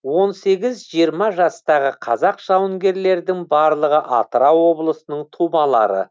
он сегіз жиырма жастағы қазақ жауынгерлердің барлығы атырау облысының тумалары